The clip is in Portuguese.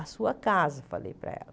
A sua casa, eu falei para ela.